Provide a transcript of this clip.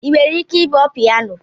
Ị nwere ike ịkpọ pianọ?